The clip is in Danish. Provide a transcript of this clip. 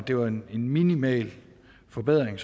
det var en minimal forbedring